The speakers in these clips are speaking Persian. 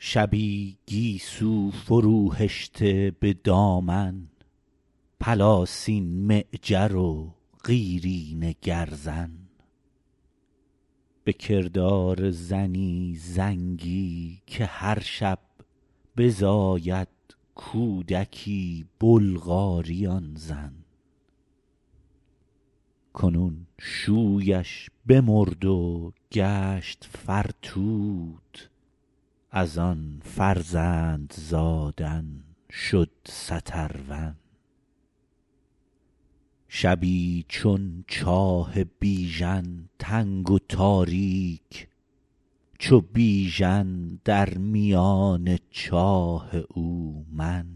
شبی گیسو فروهشته به دامن پلاسین معجر و قیرینه گرزن بکردار زنی زنگی که هرشب بزاید کودکی بلغاری آن زن کنون شویش بمرد و گشت فرتوت از آن فرزند زادن شد سترون شبی چون چاه بیژن تنگ و تاریک چو بیژن در میان چاه او من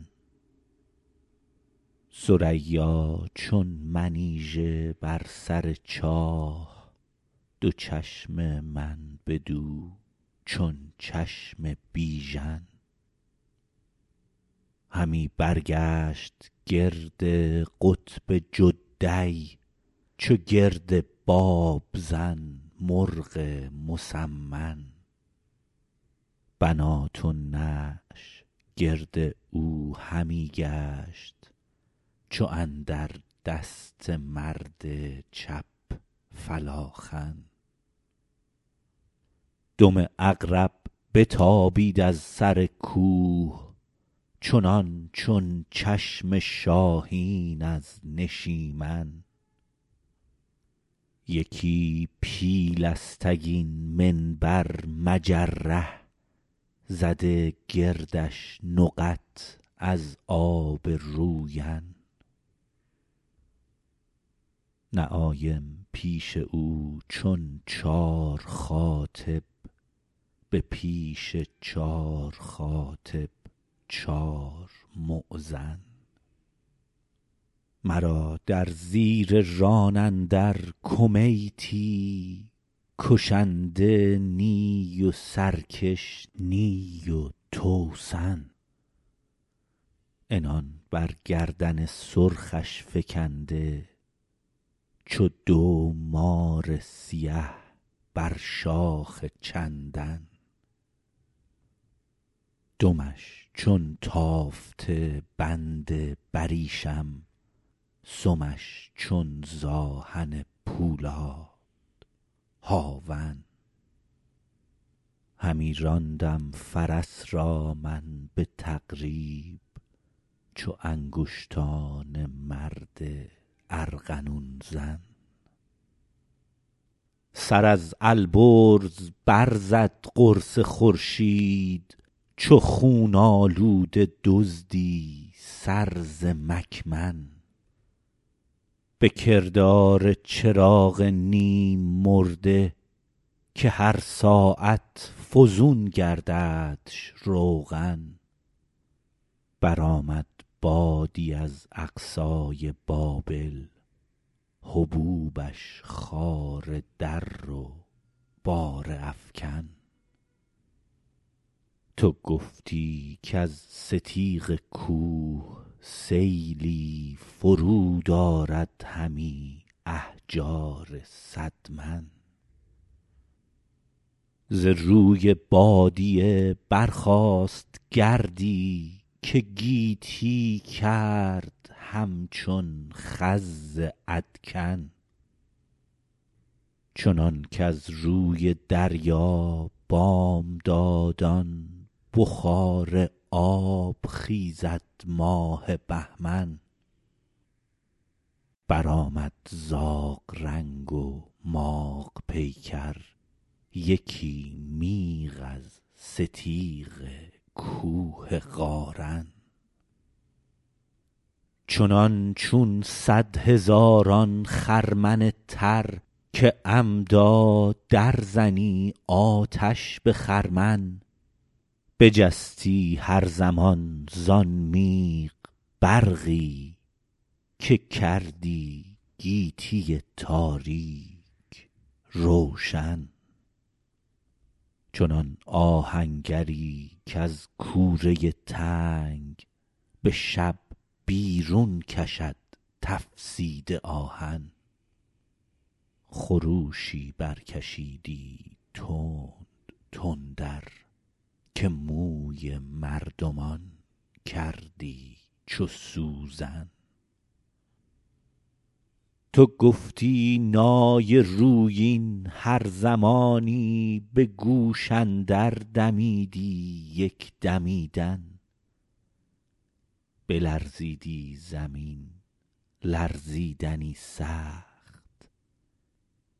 ثریا چون منیژه بر سر چاه دو چشم من بدو چون چشم بیژن همی برگشت گرد قطب جدی چو گرد بابزن مرغ مسمن بنات النعش گرد او همی گشت چو اندر دست مرد چپ فلاخن دم عقرب بتابید از سر کوه چنانچون چشم شاهین از نشیمن یکی پیلستگین منبر مجره زده گردش نقط از آب روین نعایم پیش او چون چار خاطب به پیش چار خاطب چار مؤذن مرا در زیر ران اندر کمیتی کشنده نی و سرکش نی و توسن عنان بر گردن سرخش فکنده چو دو مار سیه بر شاخ چندن دمش چون تافته بند بریشم سمش چون ز آهن پولاد هاون همی راندم فرس را من به تقریب چو انگشتان مرد ارغنون زن سر از البرز برزد قرص خورشید چو خون آلوده دزدی سر ز مکمن به کردار چراغ نیم مرده که هر ساعت فزون گرددش روغن برآمد بادی از اقصای بابل هبوبش خاره در و باره افکن تو گفتی کز ستیغ کوه سیلی فرود آرد همی احجار صد من ز روی بادیه برخاست گردی که گیتی کرد همچون خز ادکن چنان کز روی دریا بامدادان بخار آب خیزد ماه بهمن برآمد زاغ رنگ و ماغ پیکر یکی میغ از ستیغ کوه قارن چنانچون صدهزاران خرمن تر که عمدا در زنی آتش به خرمن بجستی هر زمان زان میغ برقی که کردی گیتی تاریک روشن چنان آهنگری کز کوره تنگ به شب بیرون کشد تفسیده آهن خروشی برکشیدی تند تندر که موی مردمان کردی چو سوزن تو گفتی نای رویین هر زمانی به گوش اندر دمیدی یک دمیدن بلرزیدی زمین لرزیدنی سخت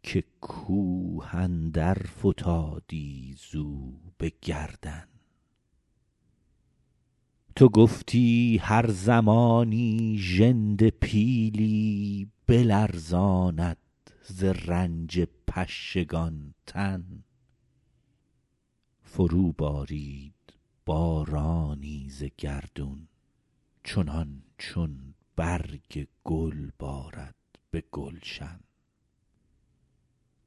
که کوه اندر فتادی زو به گردن تو گفتی هر زمانی ژنده پیلی بلرزاند ز رنج پشگان تن فرو بارید بارانی ز گردون چنانچون برگ گل بارد به گلشن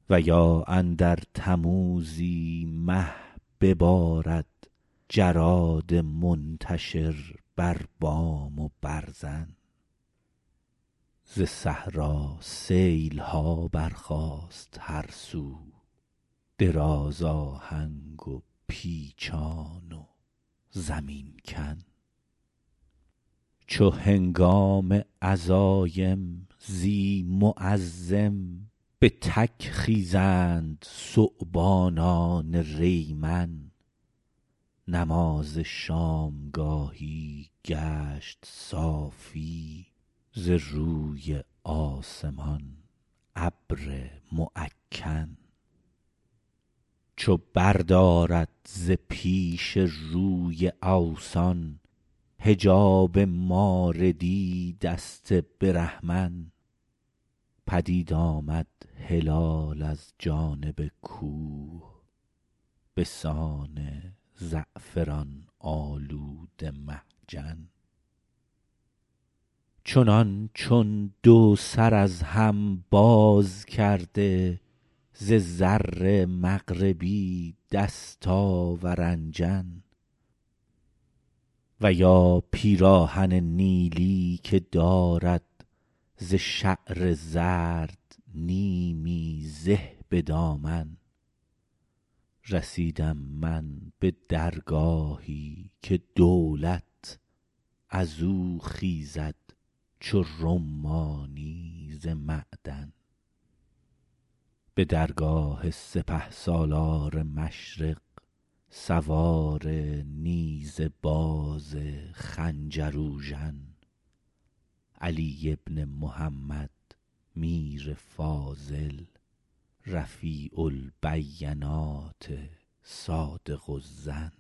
و یا اندر تموزی مه ببارد جراد منتشر بر بام و برزن ز صحرا سیلها برخاست هر سو دراز آهنگ و پیچان و زمین کن چو هنگام عزایم زی معزم به تک خیزند ثعبانان ریمن نماز شامگاهی گشت صافی ز روی آسمان ابر معکن چو بردارد ز پیش روی اوثان حجاب ماردی دست برهمن پدید آمد هلال از جانب کوه بسان زعفران آلوده محجن چنانچون دو سر از هم باز کرده ز زر مغربی دستاورنجن و یا پیراهن نیلی که دارد ز شعر زرد نیمی زه به دامن رسیدم من به درگاهی که دولت ازو خیزد چو رمانی ز معدن به درگاه سپهسالار مشرق سوار نیزه باز خنجر اوژن علی بن محمد میر فاضل رفیع البینات صادق الظن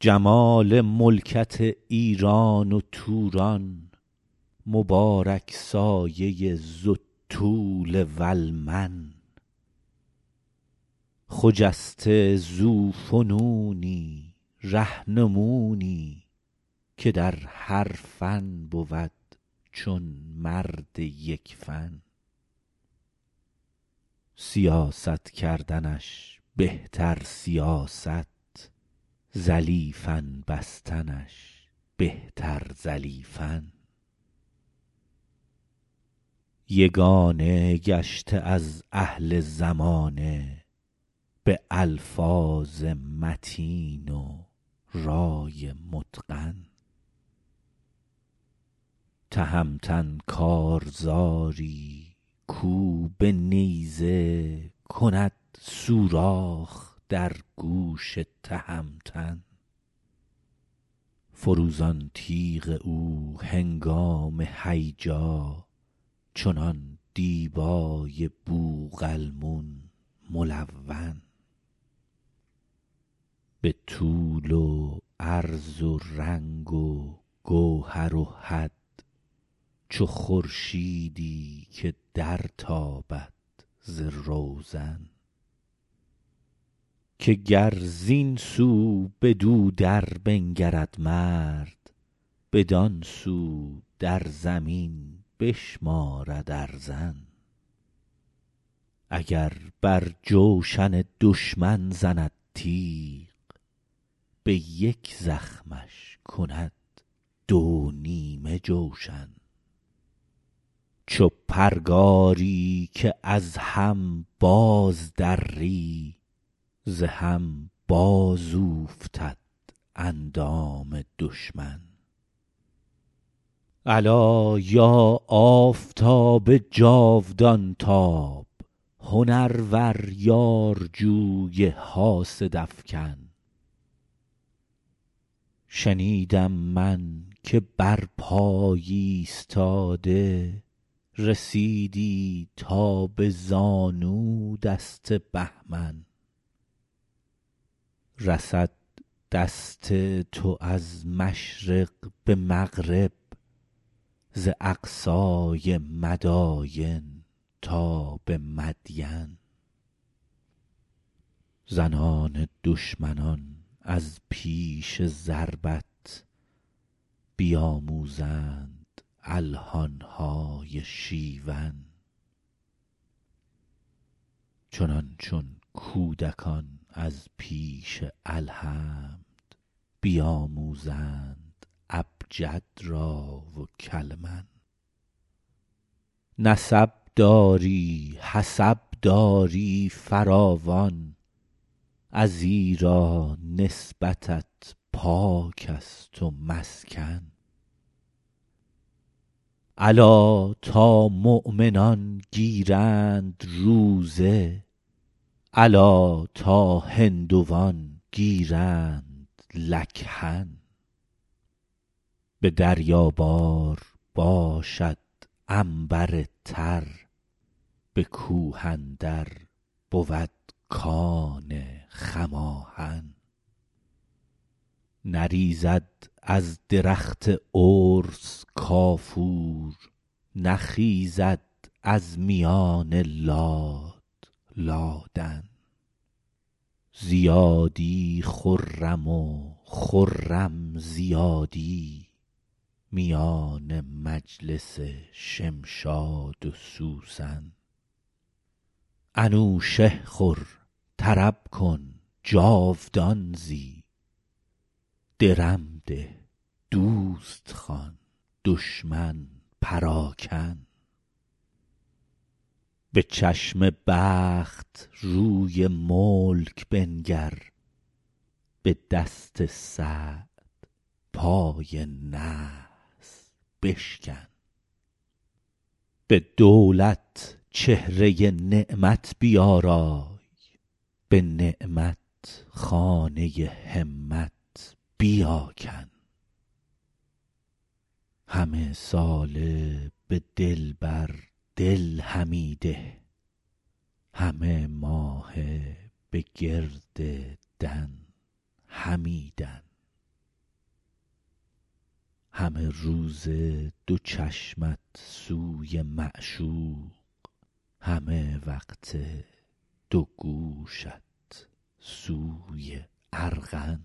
جمال ملکت ایران و توران مبارک سایه ذوالطول والمن خجسته ذوفنونی رهنمونی که درهر فن بود چون مرد یکفن سیاست کردنش بهتر سیاست زلیفن بستنش بهتر زلیفن یگانه گشته از اهل زمانه به الفاظ متین و رای متقن تهمتن کارزاری کو به نیزه کند سوراخ در گوش تهمتن فروزان تیغ او هنگام هیجا چنان دیبای بوقلمون ملون به طول و عرض و رنگ و گوهر و حد چو خورشیدی که در تابد ز روزن که گر زین سو بدو در بنگرد مرد بدانسو در زمین بشمارد ارزن اگر بر جوشن دشمن زند تیغ به یک زخمش کند دو نیمه جوشن چوپرگاری که از هم باز دری ز هم باز اوفتد اندام دشمن الا یا آفتاب جاودان تاب هنرور یارجوی حاسد افکن شنیدم من که برپای ایستاده رسیدی تا به زانو دست بهمن رسد دست تو از مشرق به مغرب ز اقصای مداین تا به مدین زنان دشمنان از پیش ضربت بیاموزند الحانهای شیون چنانچون کودکان از پیش الحمد بیاموزند ابجد را و کلمن نسب داری حسب داری فراوان ازیرا نسبتت پاکست و مسکن الا تا مؤمنان گیرند روزه الا تا هندوان گیرند لکهن به دریابار باشد عنبر تر به کوه اندر بود کان خماهن نریزد از درخت ارس کافور نخیزد از میان لاد لادن زیادی خرم و خرم زیادی میان مجلس شمشاد و سوسن انوشه خور طرب کن جاودان زی درم ده دوست خوان دشمن پراکن به چشم بخت روی ملک بنگر به دست سعد پای نحس بشکن به دولت چهره نعمت بیارای به نعمت خانه همت بیاکن همه ساله به دلبر دل همی ده همه ماهه به گرد دن همی دن همه روزه دو چشمت سوی معشوق همه وقته دو گوشت سوی ارغن